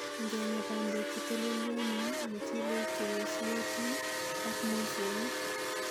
Ingenga bandek chetolelyonen, muchelek cheyesyotin ak moosong'ik.